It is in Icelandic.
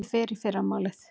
Ég fer í fyrramálið.